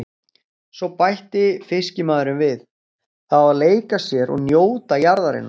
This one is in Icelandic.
Svo bætti fiskimaðurinn við:- Það á að leika sér og njóta jarðarinnar.